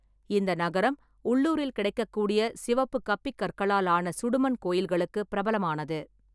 இந்த நகரம் உள்ளூரில் கிடைக்கக்கூடிய சிவப்பு கப்பிக்கற்களால் ஆன சுடுமண் கோயில்களுக்குப் பிரபலமானது.